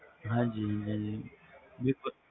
ਹਾਂ ਜੀ ਹਾਂ ਜੀ ਬਿਲਕੁਲ